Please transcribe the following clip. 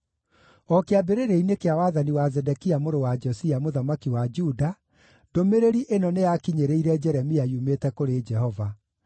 O kĩambĩrĩria-inĩ kĩa wathani wa Zedekia mũrũ wa Josia, mũthamaki wa Juda, ndũmĩrĩri ĩno nĩyakinyĩrĩire Jeremia yumĩte kũrĩ Jehova: